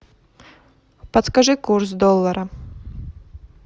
подскажи курс доллара